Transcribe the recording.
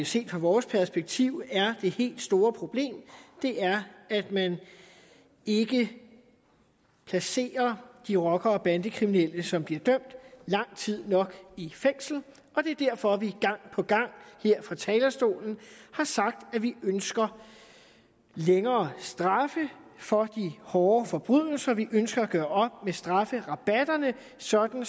set fra vores perspektiv er det helt store problem er at man ikke placerer de rocker og bandekriminelle som bliver dømt lang tid nok i fængsel og det er derfor at vi gang på gang her fra talerstolen har sagt at vi ønsker længere straffe for de hårde forbrydelser vi ønsker at gøre op med strafferabatterne sådan